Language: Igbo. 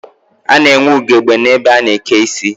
A na-enwe ugegbe n'ebe a na-eke isi